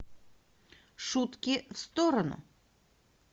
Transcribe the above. шутки в сторону